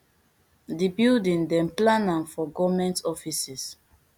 di building dem plan am for goment offices